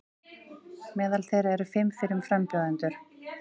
Meðal þeirra eru fimm fyrrum frambjóðendur